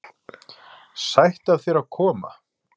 Sætt af þér að koma.